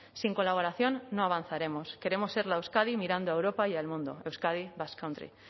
sin colaboración no avanzaremos queremos ser la euskadi mirando a europa y al mundo euskadi basque country